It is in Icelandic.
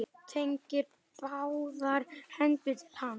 Teygir báðar hendur til hans.